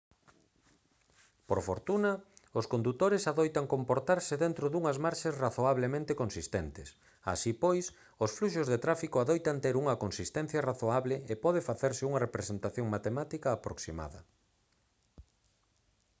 por fortuna os condutores adoitan comportarse dentro dunhas marxes razoablemente consistentes así pois os fluxos de tráfico adoitan ter unha consistencia razoable e pode facerse unha representación matemática aproximada